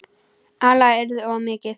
Álagið yrði of mikið.